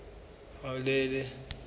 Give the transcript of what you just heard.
hauhelele